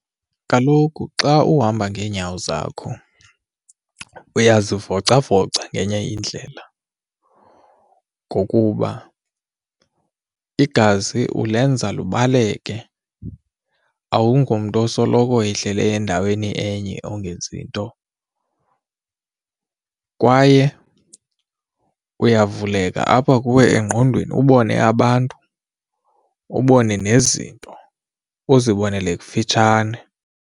Kaloku xa uhamba ngeenyawo zakho uyazivicavoca ngenye indlela ngokuba igazi ulenza lubaleke awungomntu osoloko ihleli endaweni enye ongenzi nto kwaye iyavuleka apha kuwe engqondweni ubone abantu ubone nezinto uzibonele kufitshane.